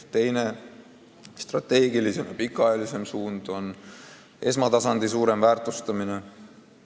Teine, strateegilisem ja pikaajalisem suund on esmatasandi suurem väärtustamine.